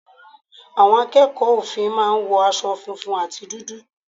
Àwọn ọmọ akẹ́kọ̀ọ́ òfin máa ń wo aṣọ funfun àti dúdú.